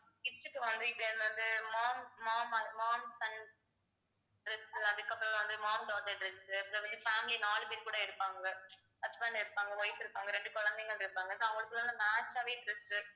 kids க்கு வந்து இப்ப இருந்து mom mom mom son dress அதுக்கு அப்புறம் வந்து mom daughter dress அதுல வந்து family நாலு பேர் கூட எடுப்பாங்க husband இருப்ப இருப்பாங்க wife இருப்பாங்க இரண்டு குழந்தைகள் இருப்பாங்க so அவங்களுக்குள்ள அந்த match ஆவே dress